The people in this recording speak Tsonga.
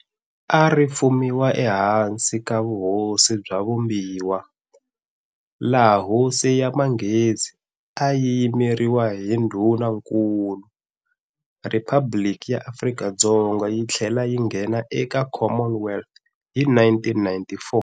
A ri fumiwa ehansi ka vuhosi bya vumbiwa, laha Hosi ya manghezi a yi yimeriwa hi ndhunankulu. Riphabliki ya Afrika-Dzonga yi tlhele yi nghena eka Commonwealth hi 1994.